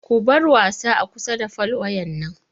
Ku bar wasa a kusa da fol wayan nan!